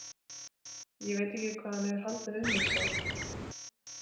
Ekki veit ég hvað hann hefur haldið um mig sá.